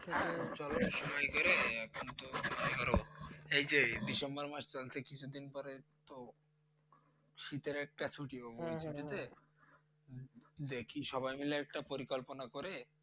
চল এক সময় করে এই যে ডিসেম্বর মাস চলছে কিছুদিন পরে তো শীতের একটা ছুটি হবে দেখি সবাই মিলে একটা পরিকল্পনা করে